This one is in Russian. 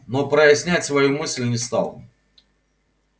но прояснять свою мысль не стал